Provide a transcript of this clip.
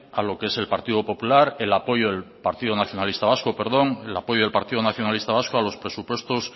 a lo que es el apoyo del partido nacionalista vasco a los presupuestos